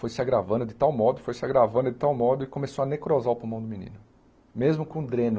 Foi se agravando de tal modo, foi se agravando de tal modo e começou a necrosar o pulmão do menino, mesmo com dreno.